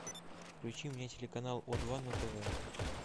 включи мне телеканал о два на тв